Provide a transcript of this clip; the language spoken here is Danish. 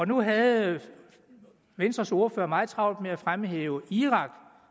nu havde venstres ordfører meget travlt med at fremhæve irak